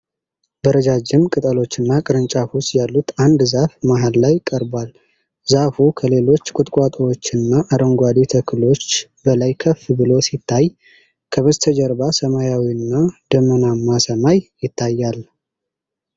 በረዣዥም ቅጠሎችና ቅርንጫፎች ያሉት አንድ ዛፍ መሃል ላይ ቀርቧል። ዛፉ ከሌሎች ቁጥቋጦዎችና አረንጓዴ ተክሎች በላይ ከፍ ብሎ ሲታይ ከበስተጀርባ ሰማያዊና ደመናማ ሰማይ ይታያል።